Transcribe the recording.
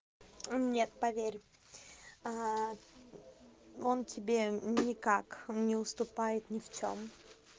нет поверь он тебе никак не уступает ни в чём